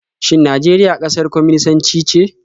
Shin Najeriya ƙasar kwaminisanci ce?